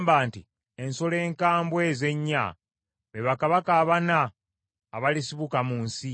‘Ensolo enkambwe ezo ennya, be bakabaka abana abalisibuka mu nsi.